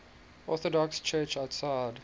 orthodox church outside